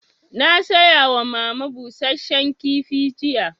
Na saya wa mama busasshen kifi jiya